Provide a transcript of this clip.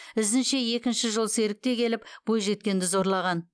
ізінше екінші жолсерік те келіп бойжеткенді зорлаған